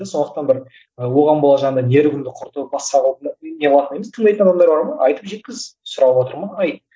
сондықтан бір і оған бола жаңағындай нервыңды құртып басқа тыңдайтын адамдар бар ма айтып жеткіз сұрап отыр ма айт